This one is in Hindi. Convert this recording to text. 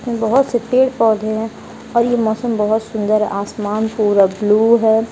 बहुत से पेड़ पौधे हैं और ये मौसम बहुत सुंदर है आसमान पूरा ब्लू है।